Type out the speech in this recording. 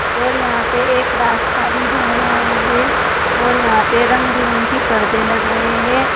और यहां पे एक रास्ता भी जा रहा है और यहां पे रंग बिरंगी पर्दे लग रहे हैं।